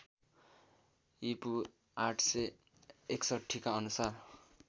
ईपू ८६१ का अनुसार